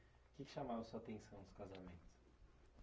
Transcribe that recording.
O que que chamava a sua atenção nos casamentos?